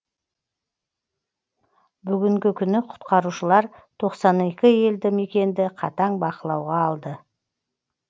бүгінгі күні құтқарушылар тоқсан екі елді мекенді қатаң бақылауға алды